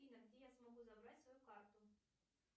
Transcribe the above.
афина где я могу забрать свою карту